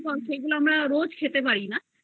ক্ষতিকর সেগুলো আমরা রোজ খেতে পারি না কিন্তু